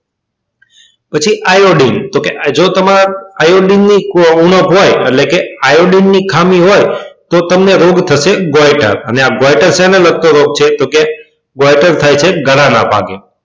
પછી iodine તો કે જો તમને iodine ની ઉણપ હોય એટલે કે iodine ની ખામી હોય તો તમને રોગ થશે અને આ શેના લાગતો રોગ છે તો કે થાય છે ગળા ના ભાગે